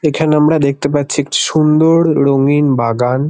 এখানে আমরা দেখতে পাচ্ছি একটি সুন্দড় ড়ঙিন বাগান।